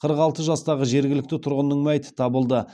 қырық алты жастағы жергілікті тұрғынның мәйіті табылды